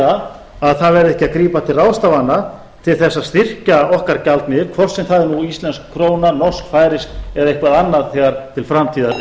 eða að það verði ekki að grípa til ráðstafana til þess að styrkja okkar gjaldmiðil hvort sem það er nú íslensk króna norsk færeysk eða eitthvað annað þegar til framtíðar